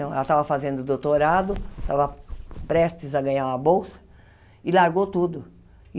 Então ela estava fazendo doutorado, estava prestes a ganhar uma bolsa e largou tudo.